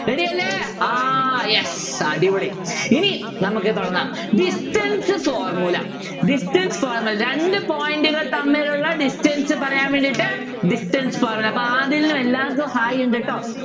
Ready അല്ലെ ആഹ് yes അടിപൊളി ഇനി നമുക്ക് തുടങ്ങാം distance formula distance formula രണ്ടു point കൾ തമ്മിലുള്ള distance പറയാൻ വേണ്ടീട്ട് distance formula അപ്പൊ ആദിലിനും എല്ലാർക്കും hi ഉണ്ട് ട്ടോ